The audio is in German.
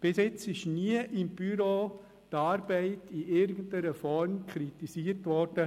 Bis jetzt ist die Arbeit von Patrick Trees seitens des Büros nie in irgendeiner Form kritisiert worden.